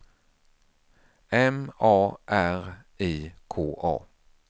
M A R I K A